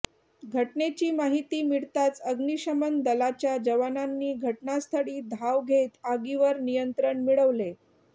घटनेची माहिती मिळताच अग्निशमन दलाच्या जवानांनी घटनास्थळी धाव घेत आगीवर नियंत्रण मिळवले